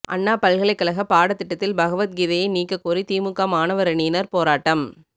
அண்ணா பல்கலைக் கழக பாடத்திட்டத்தில் பகவத்கீதையை நீக்கக் கோரி திமுக மாணவரணியினர் போராட்டம்